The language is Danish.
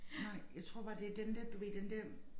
Nej jeg tror bare det den der du ved den der